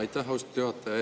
Aitäh, austatud juhataja!